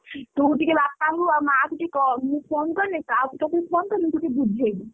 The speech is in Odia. ତୁ ଟିକେ ବାପାଙ୍କୁ ଆଉ ମାଆକୁ ଟିକେ କ ମୁଁ phone କଲେ phone କଲେ ଟିକେ ବୁଝେଇବୁ।